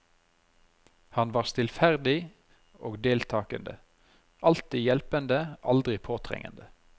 Han var stillferdig og deltagende, alltid hjelpende, aldri påtrengende.